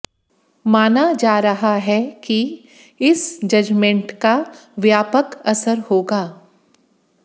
माना जा रहा है कि इस जजमेंट का व्यापक असर होगा